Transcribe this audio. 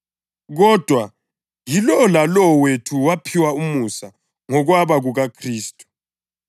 Kodwa yilowo lalowo wethu waphiwa umusa ngokwaba kukaKhristu.